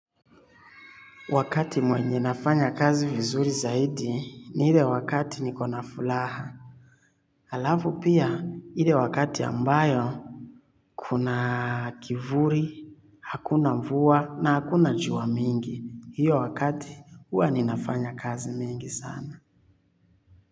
Wakati mwenye nafanya kazi vizuri zaidi ni ile wakati nikona furaha. Alafu pia ile wakati ambayo kuna kivuli, hakuna mvua na hakuna jua mingi. Hiyo wakati huwa ninafanya kazi mingi sana.